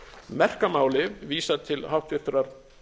merka máli vísað til háttvirtrar